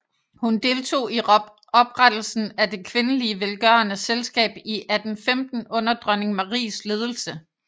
Hun deltog i oprettelsen af Det kvindelige Velgørende Selskab i 1815 under dronning Maries ledelse